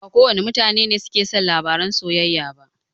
Ba kowane mutane ne suke son labaran soyayya ba.